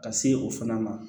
Ka se o fana ma